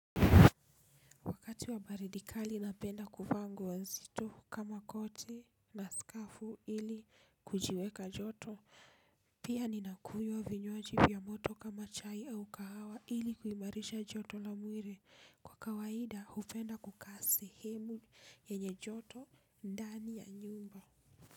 Wakati wa baridi kali napenda kuvaa nguo nzito kama koti na skafu ili kujiweka joto, pia ninakunywa vinywaji vya moto kama chai au kahawa ili kuimarisha joto la mwili. Kwa kawaida hupenda kukaa sehemu yenye joto ndani ya nyumba.